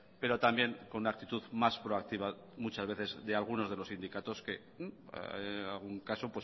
pero también con una actitud más proactiva muchas veces de algunos de los sindicatos que en algún caso